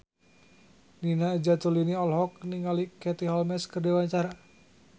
Nina Zatulini olohok ningali Katie Holmes keur diwawancara